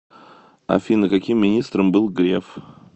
афина каким министром был греф